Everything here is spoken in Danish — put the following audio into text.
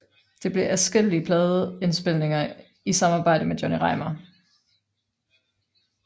Det blev til adskillige pladeindspilninger i samarbejde med Johnny Reimar